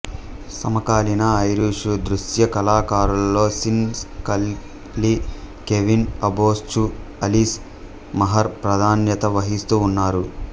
సమకాలీన ఐరిషు దృశ్య కళాకారులలో Sean Scully Kevin Abosch Alice Maher ప్రాధాన్యత వహిస్తూ ఉన్నారు